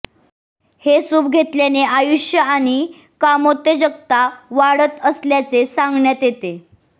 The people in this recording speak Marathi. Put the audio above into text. हे सूप घेतल्याने आयुष्य आणि कामोत्तेजकता वाढत असल्याचे सांगण्यात येते